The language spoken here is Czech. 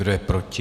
Kdo je proti?